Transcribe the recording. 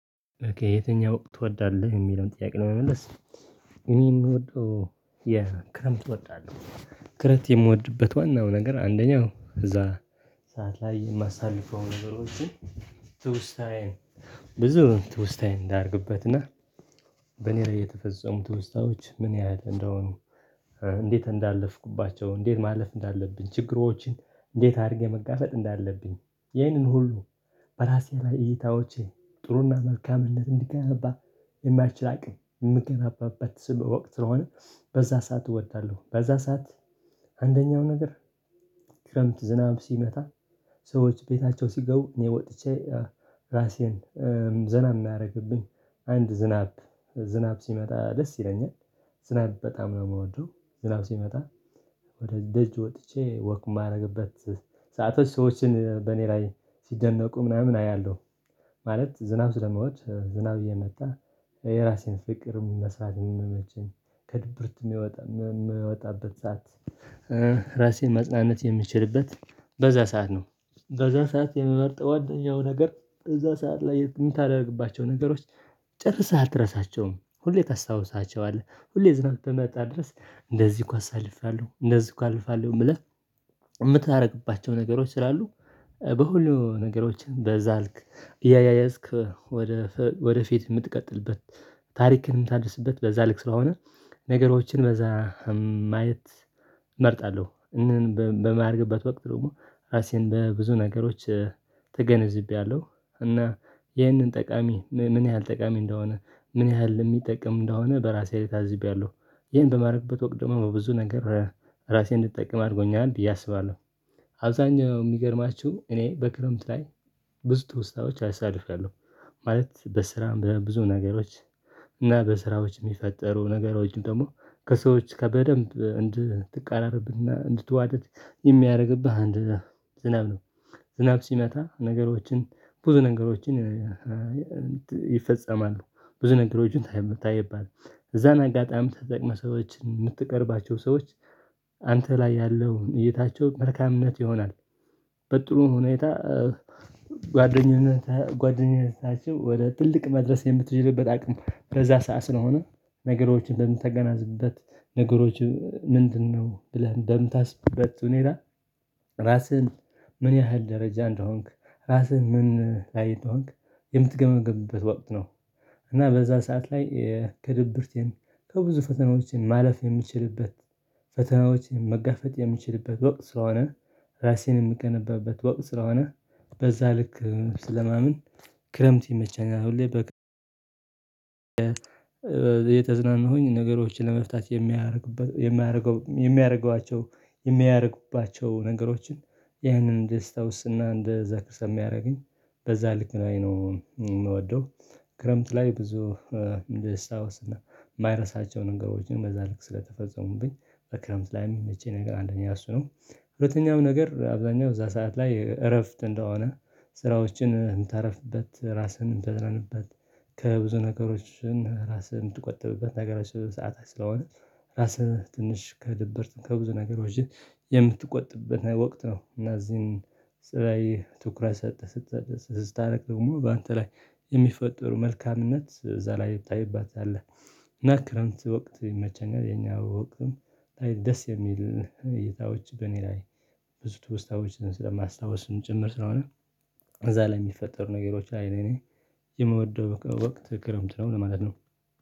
የትኛውን ወቅት ትወዳለህ? የሚለውን ጥያቄ ለመመለስ እኔ የምወደው የክረምት እወዳለሁ ክረት የምወድበት ዋናው ነገር አንደኛው እዛ ሰዓት ላይ የማሳልፈው ነገሮችን ትውስታዬን ብዙ ትውስታዬን እንዳደርግበት እና በኔ ላይ የተፈጸሙት ትውስታዎች ምን ያህል እንደሆኑ እንዴት እንዳለፍኩባቸው እንዴት ማለፍ እንዳለብን ችግሮችን እንዴት አድርጌ መጋፈጥ እንዳለብኝ ይህንን ሁሉ በራሴ ላይ እይታዎቼ ጥሩና መልካምነት እንዲገናባ የማይችል አቅም የምትገናባበት ስም በወቅት ስለሆነ በዛ ሰዓት እወዳለሁ። በዛ ሰዓት አንደኛው ነገር ክረምት ዝናብ ሲመጣ ሰዎች ቤታቸው ሲገቡ እኔ ወጥቼ ራሴን ዘና የሚያደርግብኝ አንድ ዝናብ ዝናብ ሲመጣ ደስ ይለኛል ዝናብ በጣም ነው የምወደው ዝናብ ሲመጣ ወደ ደጅ ወጥቼ ወክ የማደርግበት ሰአቶች ሰዎችን በእኔ ላይ ሲደነቁ ምናምን አያለሁ ማለት ዝናብ ስለምወድ ዝናብ እየመጣ የራሴን ፍቅርም መስራትም የምመቸኝ ከድብርትም የሚወጣ የሚወጣበት ሰዓት። ራሴን ማጽናነት የምችልበት በዛ ሰዓት ነው። በዛ ሰዓት የምበርጠው አደኛው ነገር እዛ ሰዓት ላይ የምታደርግባቸው ነገሮች ጨርሰሃል ትረሳቸውም ሁሌ ታስታውሳቸዋለህ ሁሌ ዝም በመጣ ድረስ እንደዚህ እኮ አሳልፋለሁ እንደዚህ እኮ አልፋለሁ ብለህ የምታደርግባቸው ነገሮች ስላሉ በሁሉም ነገሮችን በዛልክ እያያዝክ ወደ ወደ ፊት የምትቀጥልበት ታሪክን የምታደርስበት በዛ ልክ ስራውን ነገሮችን በዛ ማየት እመርጣለሁ። እንን በማድረግበት ወቅት ደግሞ ራሴን በብዙ ነገሮች ተገነዝቤያለሁ እና ይህንን ጠቃሚ ምን ያህል ጠቃሚ እንደሆነ ምን ያህል የሚጠቅም እንደሆነ በራሴ ላይ ታዝቤያለሁ ይሄን በማድረግበት ወቅት ደግሞ ብዙ ነገር ራሴን እንድጠቅም አድርጎኛል ብየ አስባለሁ። አብዛኛው የሚገርማችሁ እኔ በክረምት ላይ ብዙ ጥሩ ስታደርግ አሳድጋለሁ ማለት በስራ በብዙ ነገሮች እና በስራዎች የሚፈጠሩ ነገሮችን ደግሞ ከሰዎች ጋ በደንብ እንድትቃረርብና እንድትዋደድ የሚያደርግብህ አንድ ዝናብ ነው። ዝናብ ሲመታ ነገሮችን ብዙ ነገሮችን ይፈጸማሉ ብዙ ነገሮችን ታየዋለህ የምታየውበት እዛን አጋጣሚ ተጠቅመህ ሰዎችን የምትቀርባቸው ሰዎች አንተ ላይ ያለው እይታቸው መልካምነት ይሆናል። በጥሩ ሁኔታ ጓደኝነት ጓደኝነታቸው ወደ ትልቅ መድረስ የምትችልበት አቅም ከዛ ሰዓት ስለሆነ ነገሮችን እንደምትገናዝበት ነገሮች ምንድነው ብለህ በምታስብበት ሁኔታ ራስህን ምን ያህል ደረጃ እንደሆንክ ራስህን ምን ላይ እንደሆንክ የምትገመግምበት ወቅት ነው። እና በዛ ሰዓት ላይ ከድብርቴን ከብዙ ፈተናዎችን ማለፍ የሚችልበት ፈተናዎችን መጋፈጥ የሚችልበት ወቅት ስለሆነ ራሴን የምገነባበት ወቅት ስለሆነ በዛ ልክ ስለማምን ክረምት ይመቸኛል። ሁሌ በ የተዝናናሁኝ ነገሮችን ለመፍታት የሚያደርግበት የሚያደርገው የሚያደርገዋቸው የሚያደርግባቸው ነገሮችን ያንን ደስታ ውስጥና እንደ ዘክሰም ያደረገኝ በዛ ልክ ነው የምወደው። ክረምት ላይ ብዙ ልስታወስ እና የማይረሳቸው ነገሮችን በዛ ልክ ስለተፈጸሙብኝ በክረምት ላይ የሚመቸኝ ነገር አንደኛ እሱ ነው። ሁለተኛም ነገር አብዛኛው እዛ ሰዓት ላይ እረፍት እንደሆነ ስራዎችን ታረፍበት ራስህን ተዘነንበት ከብዙ ነገሮችን ራስህን የምትቆጥብበት ነገሮች ሰዓታት ስለሆነ ራስህ ትንሽ ከድብርት ከብዙ ነገሮች የምትቆጥበት ወቅት ነው። እና እዚህን ስራዬ ትኩረት ሰጥተህ ስትሰጥ ስታደርግ ደግሞ በአንተ ላይ የሚፈጠሩ መልካምነት እዛ ላይ ይታይባታል። እና ክረምት ወቅት ይመቸኛል። የኛ ወቅትም ብታይ ደስ የሚል ጌታዎች በእኔ ላይ ብዙ ትወስታዎችን ስለማስታውስም ጭምር ስለሆነ እዛ ላይ የሚፈጠሩ ነገሮች አይኔ የምወደው በቃ ወቅት ክረምት ነው ማለት ነው።